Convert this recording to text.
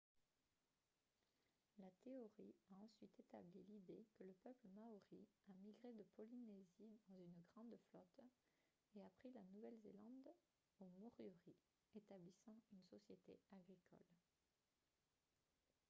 la théorie a ensuite établi l'idée que le peuple maori a migré de polynésie dans une grande flotte et a pris la nouvelle-zélande aux moriori établissant une société agricole